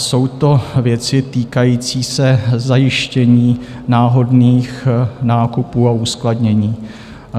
Jsou to věci týkající se zajištění náhodných nákupů a uskladnění.